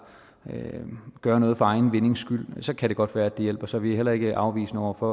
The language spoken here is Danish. gøre noget for egen vindings skyld kan det godt være det hjælper så vi er heller ikke afvisende over for